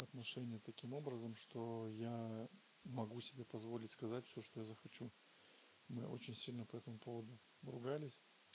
отношения таким образом что я могу себе позволить сказать всё что я захочу мы очень сильно по этому поводу ругались